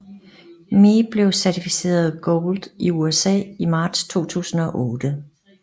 Me blev certificeret Gold i USA i marts 2008